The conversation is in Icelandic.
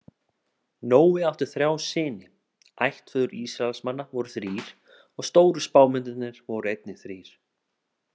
Nói átti þrjá syni, ættfeður Ísraelsmann voru þrír og stóru spámennirnir voru einnig þrír.